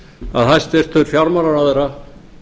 að hæstvirtur fjármálaráðherra